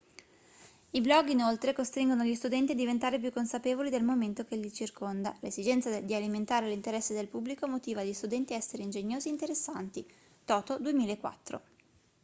i blog inoltre costringono gli studenti a diventare più consapevoli del momento che li circonda". l'esigenza di alimentare l'interesse del pubblico motiva gli studenti a essere ingegnosi e interessanti toto 2004